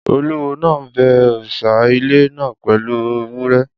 Olúwo náà bẹ òrìṣà ilẹ̀ náà pẹ̀lú ewúrẹ́